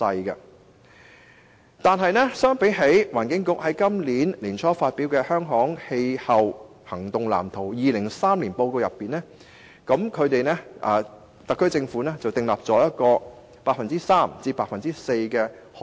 不過，根據環境局在本年年初發表的《香港氣候行動藍圖 2030+》，特區政府實現可再生能源的潛力約為 3% 至 4%。